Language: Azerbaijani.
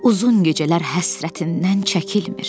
Uzun gecələr həsrətindən çəkilmir.